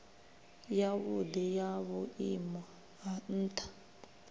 yavhudi ya vhuimo ha ntha